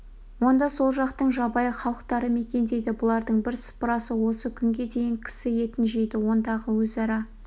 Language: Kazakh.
онда сол жақтың жабайы халықтары мекендейді бұлардың бірсыпырасы осы күнге дейін кісі етін жейді ондағы өзара